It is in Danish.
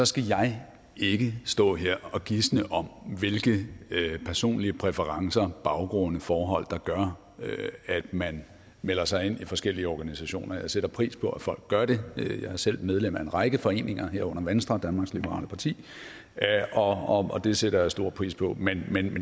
skal jeg ikke stå her og gisne om hvilke personlige præferencer baggrunde og forhold der gør at man melder sig ind i forskellige organisationer jeg sætter pris på at folk gør det jeg er selv medlem af en række foreninger herunder venstre danmarks liberale parti og det sætter jeg stor pris på men